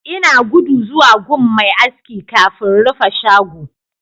Ina gudu zuwa gun Mai aski kafin rufe shago